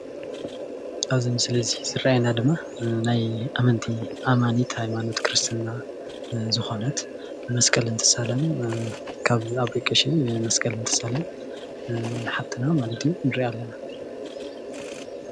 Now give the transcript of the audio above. ኣብዚ ምስሊ ዝረአየና ድማ ናይ ኣመንቲ ኣማኒት ሃይማኖት ክርስትና ዝኾነት መስቀል እትትሳለም ካብ ኣቦይ ቀሺ መስቀል እንትሳለም ሓፍትና ማለት እዩ ንሪኣ ኣለና፡፡